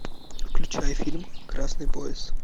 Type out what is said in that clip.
включай фильм красный пояс